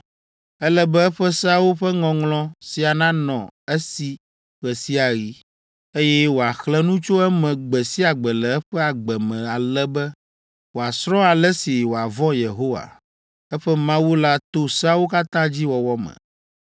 Ele be eƒe seawo ƒe ŋɔŋlɔ sia nanɔ esi ɣe sia ɣi, eye wòaxlẽ nu tso eme gbe sia gbe le eƒe agbe me ale be, wòasrɔ̃ ale si wòavɔ̃ Yehowa, eƒe Mawu la to seawo katã dzi wɔwɔ me.